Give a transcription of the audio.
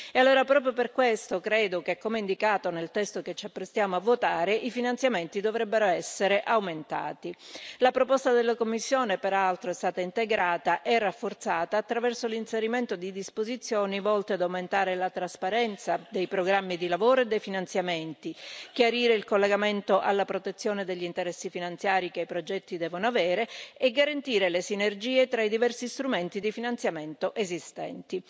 E allora, proprio per questo credo che, come indicato nel testo che ci apprestiamo a votare, i finanziamenti dovrebbero essere aumentati. La proposta della Commissione, peraltro, è stata integrata e rafforzata attraverso l'inserimento di disposizioni volte ad aumentare la trasparenza dei programmi di lavoro e dei finanziamenti, chiarire il collegamento alla protezione degli interessi finanziari che i progetti devono avere e garantire le sinergie tra i diversi strumenti di finanziamento esistenti.